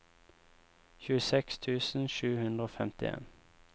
tjueseks tusen sju hundre og femtien